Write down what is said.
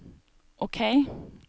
OK